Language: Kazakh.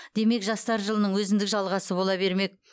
демек жастар жылының өзіндік жалғасы бола бермек